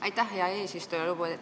Aitäh, hea eesistuja!